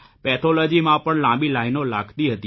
પેથોલોજીમાં પણ લાંબી લાઇનો લાગતી હતી